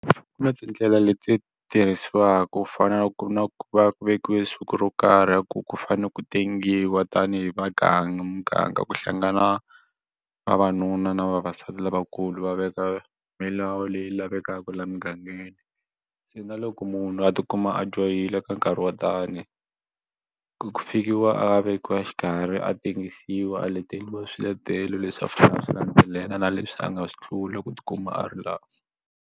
Ku na tindlela leti tirhisiwaka ku fana na ku ri na ku vekiwe siku ro karhi ku ku fanele ku tengiwa tanihi vaganga muganga ku hlangana vavanuna na vavasati lavakulu va veka milawu leyi lavekaka la mugangeni se na loko munhu a ti kuma a dyohile ka nkarhi wo tani ku fikiwa a vekiwa xikarhi a tengisiwa a leteriwa swiletelo leswi a fanele a swi landzelela na leswi a nga swi tlula ku ti kuma a ri laha.